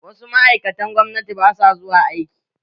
Wasu ma'aikatan gwamnati ba sua zuwa aiki.